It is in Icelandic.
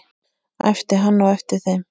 æpti hann á eftir þeim.